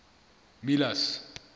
miller's